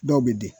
Dɔw bɛ di